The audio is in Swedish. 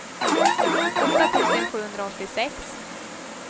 åtta tusen sjuhundraåttiosex